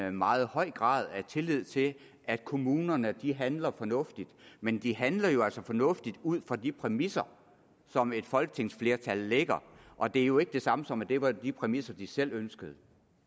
en meget høj grad af tillid til at kommunerne handler fornuftigt men de handler jo altså fornuftigt ud fra de præmisser som et folketingsflertal lægger og det er jo ikke det samme som at det var de præmisser de selv ønskede